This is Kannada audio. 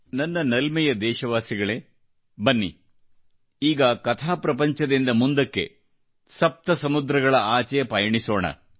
ನನ್ನ ನಲ್ಮೆಯ ದೇಶವಾಸಿಗಳೇ ಬನ್ನಿ ಈಗ ಕಥಾಪ್ರಪಂಚದಿಂದ ಮುಂದಕ್ಕೆ ಸಪ್ತಸಮುದ್ರಗಳ ಆಚೆ ಪಯಣಿಸೋಣ